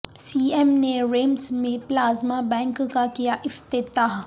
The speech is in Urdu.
سی ایم نے ریمس میں پلازمہ بینک کا کیاافتتاح